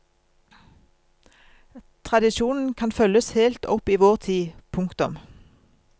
Tradisjonen kan følges helt opp i vår tid. punktum